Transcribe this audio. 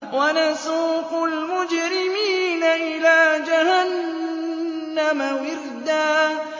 وَنَسُوقُ الْمُجْرِمِينَ إِلَىٰ جَهَنَّمَ وِرْدًا